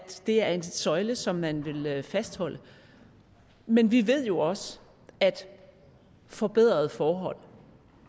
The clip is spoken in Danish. det er en søjle som man vil fastholde men vi ved jo også at forbedrede forhold